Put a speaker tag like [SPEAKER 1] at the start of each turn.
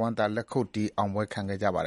[SPEAKER 1] ဝမ်းသာအားရ လက်ခုပ်တီး အောင်ပွဲ
[SPEAKER 2] ခံကြပါတယ်